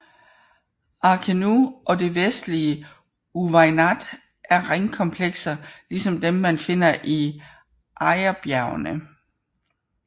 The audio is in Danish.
Arkenu og det vestlige Uweinat er ringkomplekser ligesom dem man finder i Aïrbjergene